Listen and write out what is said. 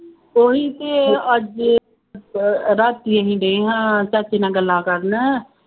ਕੋਈ ਤੇ ਅੱਜ ਅਹ ਰਾਤੀ ਅਸੀਂ ਡੇ ਹਾਂ ਚਾਚੇ ਨਾਲ ਗੱਲਾਂ ਕਰਨ